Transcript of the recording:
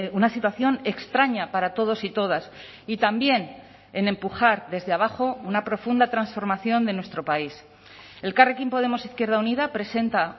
una situación extraña para todos y todas y también en empujar desde abajo una profunda transformación de nuestro país elkarrekin podemos izquierda unida presenta